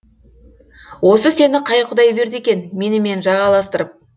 осы сені қай құдай берді екен менімен жағаластырып